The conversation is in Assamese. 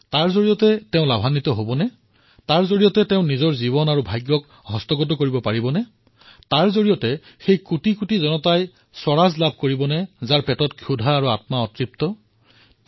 তাৰ পৰা কিবা লাভ হবনে তাৰ পৰা তেওঁ নিজৰ জীৱন আৰু ভাগ্য কাবু কৰি ৰাখিব পাৰিব নে অৰ্থাৎ ইয়াৰ পৰা সেই কোটি কোটি লোকে স্বৰাজ লাভ কৰিবনে নে যাৰ পেটত ভোক আছে আত্মা অতৃপ্ত হৈ আছে